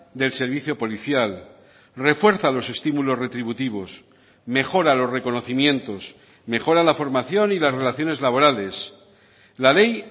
del servicio policial refuerza los estímulos retributivos mejora los reconocimientos mejora la formación y las relaciones laborales la ley